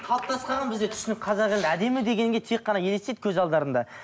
қалыптасып қалған бізде түсінік қазақ елі әдемі дегенге тек қана елестейді көз алдарында